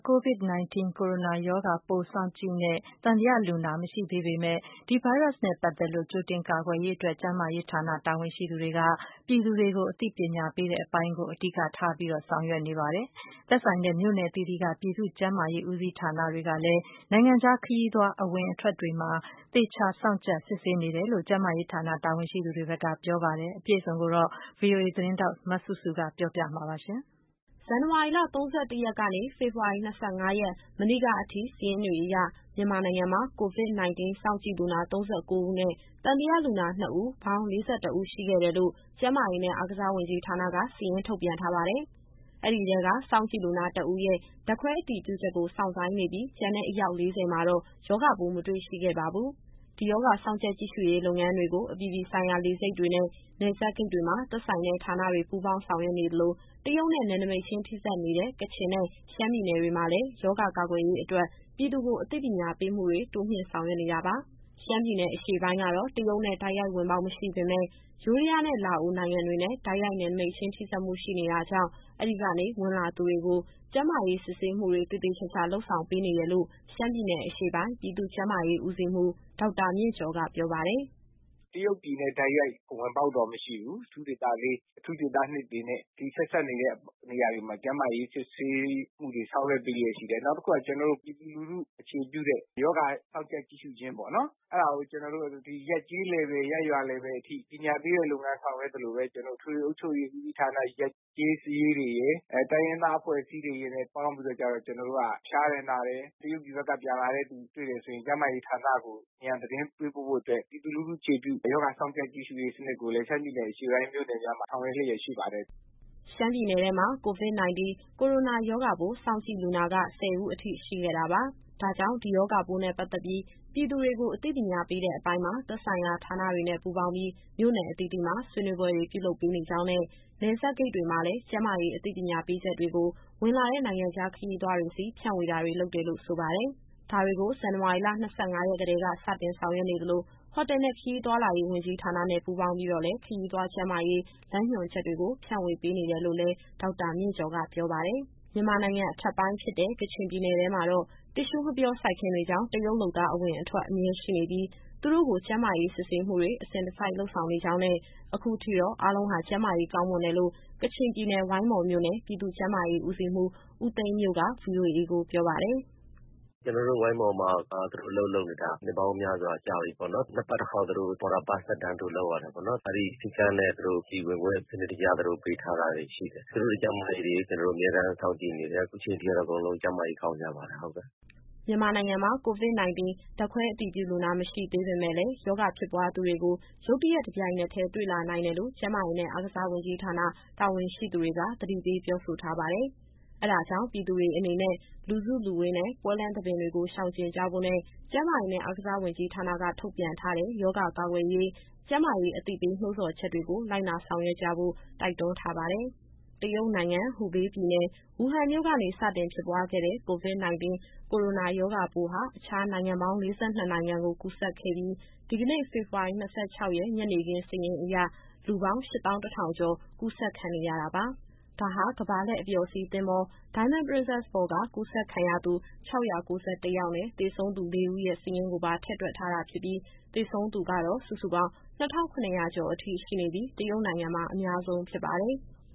COVID- 19 ကိုရိုနာရောဂါပိုး စောင့်ကြည့်နဲ့ သံသယလူနာ မရှိသေးတဲ့ မြန်မာနိုင်ငံမှာ ဒီရောဂါ ကာကွယ်ရေးအတွက် ကျန်းမာရေးဌာန တာဝန်ရှိသူတွေက ပြည်သူတွေကိုအသိပညာ ပေးတဲ့အပိုင်းကို အဓိကထားဆောက်ရွက်နေတယ်လို့ ဆိုပါတယ်။ သက်ဆိုင်တဲ့ မြို့နယ်အသီးသီးက ပြည်သူ့ကျန်းမာရေး ဦးစီးဌာနတွေကလည်း နိုင်ငံခြားခရီးသွားအဝင် အထွက်တွေမှာ သေချာစောင့်ကြပ် စစ်ဆေးနေတယ်လို့ ပြောပါတယ်။ အပြည့်အစုံကို ဗွီအိုအေသတင်းထောက် စုစုကပြောပြသွားမှာပါ။ ဇန်နဝါရီလ ၃၁ ရက်ကနေ ဖေဖော်ဝါရီ ၂၅ရက် မနေ့ကအထိ စာရင်းတွေအရ မြန်မာနိုင်ငံမှာ COVID- 19 စောင့်ကြည့်လူနာ ၃၉ဦးနဲ့ သံသယလူနာ ၂ဦး၊ ပေါင်း ၄၁ဦးရှိခဲ့တယ်လို့ ကျန်းမာရေးနဲ့ အားကစား ဝန်ကြီးဌာနက စာရင်းထုတ်ပြန်ထားပါတယ်။ အဲဒီထဲက စောင့်ကြည့်လူနာ ၁ဦးရဲ့ ဓာတ်ခွဲအတည်ပြုချက်ကို စောင့်ဆိုင်းနေပြီး ကျန်တဲ့ အယောက် ၄၀မှာတော့ ရောဂါပိုး မတွေ့ရှိခဲ့ပါဘူး။ ဒီရောဂါစောင့်ကြပ် ကြည့်ရှုရေးလုပ်ငန်းတွေကို အပြည်ပြည်ဆိုင်ရာ လေဆိပ်တွေနဲ့ နယ်စပ် ဂိတ်တွေမှာ သက်ဆိုင်တဲ့ ဌာနတွေ ပူးပေါင်းဆောင်ရွက်နေ သလို တရုတ်နဲ့ နယ်နိမိတ်ချင်း ထိစပ်နေတဲ့ ကချင်နဲ့ ရှမ်းပြည်နယ်တွေမှာလည်း ရောဂါကာကွယ်ရေးအတွက် ပြည်သူကို အသိပညာ ပေးမှုတွေ တိုးမြှင့် ဆောင်ရွက် နေတာပါ။ ရှမ်းပြည်နယ်အရှေ့ပိုင်းကတော့ တရုတ်နဲ့တိုက်ရိုက်ဝင်ပေါက် မရှိပေမယ့် ယိုးဒယားနဲ့ လာအို နိုင်ငံ တွေနဲ့ တိုက်ရိုက် နယ်စပ်ထိစပ်မှု ရှိနေတာကြောင့် အဲဒီကနေ ဝင်လာသူတွေကို ကျန်းမာရေး စစ်ဆေးမှုတွေသေသေ ချာချာ လုပ်ဆောင် ပေးနေတယ်လို့ ရှမ်းပြည်နယ် အရှေ့ပိုင်း ပြည်သူ့ ကျန်းမာရေးဦးစီးမှူး ဒေါက်တာမြင့်ကျော်က ပြောပါတယ်။ “တရုတ်ပြည်နဲ့ တိုက်ရိုက်ဝင်ပေါက်တော့ မရှိဘူး။ ဒါပေမယ့် အထူးဒေသ ၄၊ အထူးဒေသ ၂တွေနဲ့ ဆက်စပ်နေတဲ့နေရာတွေမှာ ကျန်းမာရေးစစ်ဆေးမှုတွေ ဆောင်ရွက်ပေးလျက်ရှိတယ်။ နောက်တခုက ပြည်သူလူထုအခြေပြုတဲ့ ရောဂါစောင့်ကြပ် ကြည့်ရှုခြင်းပေါ့နော်။ အဲဒါကို ရပ်ကျေးအဆင့်၊ ရပ်ရွာအဆင့်အထိ ပညာပေးတဲ့လုပ်ငန်းဆောင်ရွက်သလိုပဲ။ အထွေထွေအုပ်ချုပ်ရေး ဦးစီးဌာန ရပ်ကျေးစာရေးတွေရယ်၊ တိုင်းရင်းသားအဖွဲ့အစည်းတွေနဲ့ ပေါင်းပြီးတော့ ဖျားတယ် နာတယ်၊ တရုတ်ပြည်ဘက်က ပြန်လာတဲ့သူ တွေ့တယ်ဆိုရင် ကျန်းမာရေးဌာနကို အမြန်သတင်းပေးပို့ဖို့အတွက် ပြည်သူလူထုအခြေပြုတဲ့ ရောဂါစောင့်ကြပ်ရေး စနစ်ကိုလည်း ရှမ်းပြည်နယ်အရှေ့ပိုင်း မြို့နယ်များမှာ ဆောင်ရွက်လျက်ရှိပါတယ်။” ရှမ်းပြည်နယ်ထဲမှာ COVID- 19 ကိုရိုနာရောဂါပိုး စောင့်ကြည့်လူနာက ၁၀ဦးအထိ ရှိခဲ့တာ ပါ။ ဒါကြောင့် ဒီ ရောဂါပိုးနဲ့ ပတ်သက်ပြီး ပြည်သူတွေကိုအသိပညာ ပေးတဲ့အပိုင်းမှာ သက်ဆိုင်ရာဌာနတွေနဲ့ ပူးပေါင်းပြီး မြို့နယ်အသီးသီးမှာ ဆွေးနွေးပွဲတွေ ပြုလုပ်ပေးနေ ကြောင်းနဲ့ နယ်စပ်ဂိတ်တွေမှာ လည်း ကျန်းမာရေးအသိပညာပေးချက်တွေကို ဝင်လာတဲ့ နိုင်ငံခြားခရီးသွားတွေဆီ ဖြန့်ဝေတာတွေ လုပ်တယ်လို့ ဆိုပါတယ်။ ဒါတွေကို ဇန်နဝါရီလ ၂၅ရက်ကတည်းက စတင်ဆောင်ရွက်နေသလို ဟိုတယ်နဲ့ ခရီးသွားလာရေးဝန်ကြီးဌာနနဲ့ ပူးပေါင်းပြီးတော့လည်းခရီးသွားကျန်းမာရေး လမ်းညွှန်ချက်တွေကို ဖြန့်ဝေပေးနေတယ်လို့ လည်း ဒေါက်တာမြင့်ကျော်က ပြောပါတယ်။ မြန်မာနိုင်ငံ အထက်ပိုင်းဖြစ်တဲ့ ကချင်ပြည်နယ်ထဲမှာတော့ တစ်ရှူးငှက်ပျောစိုက်ခင်းတွေကြောင့် တရုတ်လုပ်သား အဝင်အထွက် အမြဲရှိနေပြီး သူတို့ကို ကျန်းမာရေး စစ်ဆေးမှုတွေ အစဉ်တစိုက် လုပ်ဆောင်နေကြောင်းနဲ့ အခုထိတော့ အားလုံးဟာ ကျန်းမာရေးကောင်းမွန်တယ်လို့ ကချင်ပြည်နယ်၊ ဝိုင်းမော်မြို့နယ် ပြည်သူ့ကျန်းမာရေးဦးစီးမှူး ဦးသိန်းမြို့က ဗွီအိုအေကိုပြောပါတယ်။ “ကျတော်တို့ဝိုင်းမော်မှာက သူတို့အလုပ်လုပ်နေတာ နှစ်ပေါင်းများစွာကြာပြီပေါ့နော်။ နှစ်ပတ် တခေါက် သူတို့ Border Pass သက်တမ်းတိုး လုပ်ရတယ်ပေါ့နော်။ အဲဒီစည်းကမ်းနဲ့ သူတို့ပြည်ဝင်ခွင့် စနစ်တကျ သူတို့ကိုပေးထားတာတွေ ရှိတယ်။ သူတို့ရဲ့ကျန်းမာရေးတွေ ကျတော်တို့အမြဲတမ်း စောင့်ကြည့်နေတယ်။ အခုချိန်ထိကတော့ အကုန်လုံး ကျန်းမာရေးကောင်းကြပါတယ်။” မြန်မာနိုင်ငံမှာ COVID- 19 ဓာတ်ခွဲအတည်ပြုလူနာ မရှိသေးပေမယ့်လည်း ရောဂါဖြစ်ပွားသူတွေကို ရုတ်တရက် တပြိုင်နက်တည်း တွေ့လာနိုင်တယ်လို့ ကျန်းမာရေးနဲ့ အားကစားဝန်ကြီးဌာန တာဝန်ရှိသူတွေက သတိပေးပြောဆို ထားပါတယ်။ အဲဒါကြောင့် ပြည်သူတွေအနေနဲ့ လူစုလူဝေးနဲ့ ပွဲလမ်းသဘင်တွေကို ရှောင်ကြဉ်ကြဖို့နဲ့ ကျန်းမာရေးနဲ့ အားကစားဝန်ကြီးဌာနက ထုတ်ပြန်ထားတဲ့ ရောဂါကာကွယ်ရေး ကျန်းမာရေးအသိပေး နှိုးဆော်ချက်တွေကို လိုက်နာဆောင်ရွက်ကြဖို့ တိုက်တွန်းထားပါတယ်။ တရုတ်နိုင်ငံ၊ ဟူဘေးပြည်နယ်၊ ဝူဟန်မြို့ကနေ စတင်ဖြစ်ပွားခဲ့တဲ့ COVID- 19 ကိုရိုနာရောဂါပိုးဟာ အခြားနိုင်ငံပေါင်း ၄၂နိုင်ငံကို ကူးစက်ခဲ့ပြီး ဒီကနေ့ ဖေဖော်ဝါရီ ၂၆ရက် ညနေခင်းစာရင်းအရ လူပေါင်း ၈၁,၀၀၀ ကျော် (၈၁,၂၆၄) ကူးစက်ခံနေရတာပါ။ ဒါဟာ ကမ္ဘာလှည့်အပျော်စီး သင်္ဘော Diamond Princess ပေါ်က ကူးစက်ခံရသူ ၆၉၁ ယောက်နဲ့ သေဆုံးသူ ၄ဦးရဲ့ စာရင်းကိုပါ ထည့်တွက်ထားတာဖြစ်ပြီး သေဆုံးသူကတော့ စုစုပေါင်း ၂,၇၀၀ ကျော် (၂,၇၇၀) အထိ ရှိနေပြီး တရုတ်နိုင်ငံမှာ အများဆုံးဖြစ်ပါတယ်။